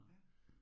Ja